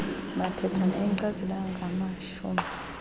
maphetshana enkcazelo angamashumi